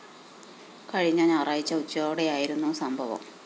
കഴിഞ്ഞ ഞായറാഴ്ച ഉച്ചയോടെയായിരുന്നു സംഭവം